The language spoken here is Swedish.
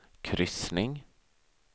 kryssning